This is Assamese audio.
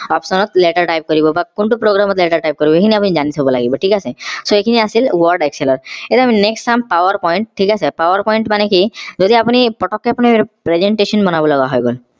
option ত letter type কৰিব বা কোনটো program ত letter type কৰিব সেইখিনি আপোনি জানি থব লাগিব থিক আছে so এইখিনি আছিল word excel এতিয়া আমি next চাম power point থিক আছে power point মানে কি যদি আপোনি পতকে অপোনি presentation বনাব লগা হৈ গল